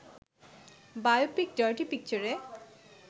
biopic ‘dirty পিকচার’-এ